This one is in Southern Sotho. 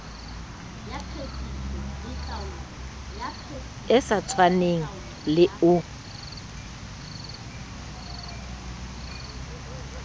e sa tshwaneng le o